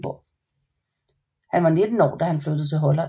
Han var 19 år da han flyttede til Holland